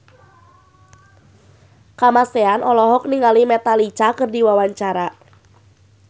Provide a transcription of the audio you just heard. Kamasean olohok ningali Metallica keur diwawancara